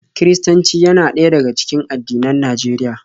Kiristanci yana ɗaya daga cikin addinan Najeriya.